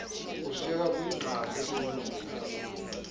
kushiyeka kuyingxaki kwimihlaba